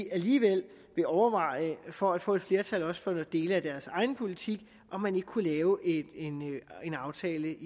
alligevel vil overveje for at få et flertal også for dele af deres egen politik om man ikke kunne lave en aftale